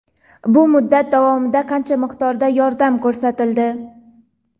Bu muddat davomida qancha miqdorda yordam ko‘rsatildi?.